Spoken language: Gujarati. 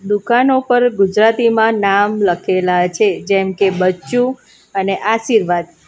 દુકાનો પર ગુજરાતીમાં નામ લખેલા છે જેમ કે બચ્ચું અને આશીર્વાદ.